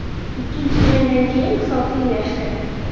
Ikkinchi jangdan keyin hisob tenglashdi.